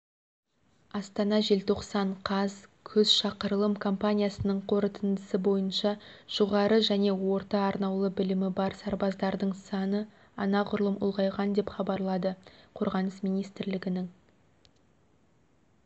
астана желтоқсан қаз күз шақырылым компаниясының қорытындысы бойынша жоғары және орта-арнаулы білімі бар сарбаздардың саны анағұрлым ұлғайған деп хабарлады қорғаныс министрлігінің